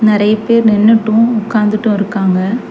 நெறைய பேர் நின்னுட்டு உக்காந்துட்டு இருக்காங்க.